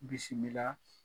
Bisimila